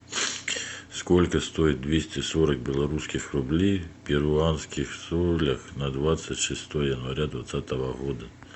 сколько стоит двести сорок белорусских рублей в перуанских солях на двадцать шестое января двадцатого года